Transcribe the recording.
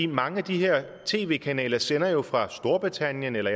mange af de her tv kanaler sender jo fra storbritannien eller